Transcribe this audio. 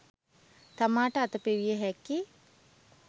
තමාට අත පෙවිය හැකි